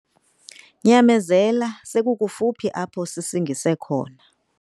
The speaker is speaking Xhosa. Nyamezela sekukufuphi apho sisingise khona.